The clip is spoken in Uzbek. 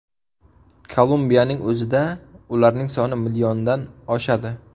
Kolumbiyaning o‘zida ularning soni milliondan oshadi.